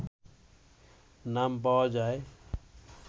নাম পাওয়া যায়